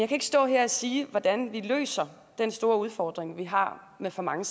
kan ikke stå her og sige hvordan vi løser den store udfordring vi har med for mange